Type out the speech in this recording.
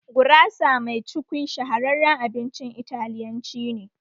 Gurasa mai cukwi shahararren abincin Italiyanci ne